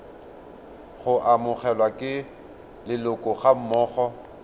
go amogelwa ke leloko gammogo